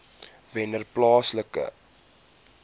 wennerplaaslike